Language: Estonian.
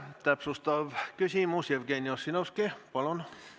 Täpsustav küsimus, Jevgeni Ossinovski, palun!